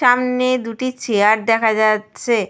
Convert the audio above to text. সামনে দুটি চেয়ার দেখা যাচ্ছে ।